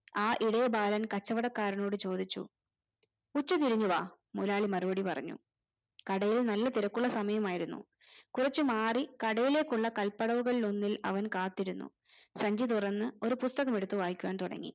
ആ ഇടയബാലൻ കച്ചവടക്കാരനോട് ചോദിച്ചു ഉച്ചതിരിഞ്ഞു വാ മൊതലാളി മറുപടി പറഞ്ഞു കടയിൽ നല്ല തിരക്കുള്ള സമയമായിരുന്നു കുറച്ചുമാറി കടയിലേക്കുള്ള കല്പടവുകളിൽ ഒന്നിൽ അവൻ കാത്തിരുന്നു സഞ്ചി തുറന്ന് ഒരു പുസ്തകം എടുത്ത് വായിക്കുവാൻ തുടങ്ങി